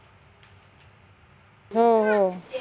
हो हो